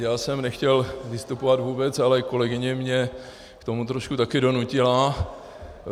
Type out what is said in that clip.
Já jsem nechtěl vystupovat vůbec, ale kolegyně mě k tomu trošku taky donutila.